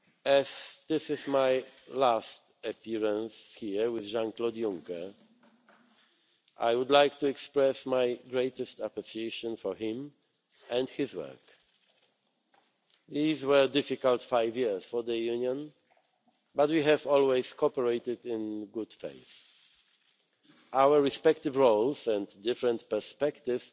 jobs. As this is my last appearance here with Jean Claude Juncker, I would like to express my greatest appreciation of him and his work. These were a difficult five years for the Union, but we have always cooperated in good faith. Our respective roles and different perspectives